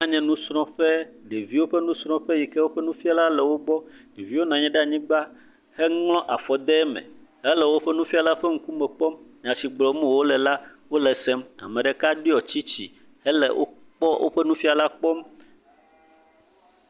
Anye nusrɔƒe, ɖevio ƒe nusrɔƒe yike woƒe nufiala le wogbɔ, ɖevio nanyi ɖe anyigba heŋlɔ afɔ de eme hele woƒe nufiala ƒe ŋkume kpɔm, nya si gblɔm wole la, wole sem, meɖeka ɖiɔ tsitsi hele wokpɔ woƒe nufiala kpɔm.